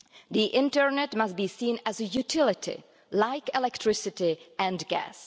The internet must be seen as a utility like electricity and gas.